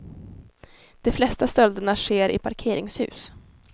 De flesta stölderna sker i parkeringshus.